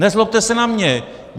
Nezlobte se na mě!